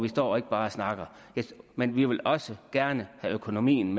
står ikke bare og snakker men vi vil også gerne have økonomien